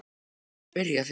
Ég var ekki að spyrja þig.